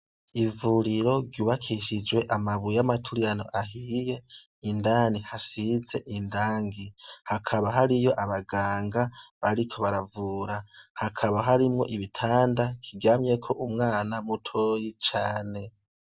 Ivuriro ryubakishijwe n'amabuye yamaturirano ahiye, indani hasize irangi, hakaba hariyo abanganga bariko baravura, hakaba harimwo ibitanda kiryamyeko umwana mutoyi cane.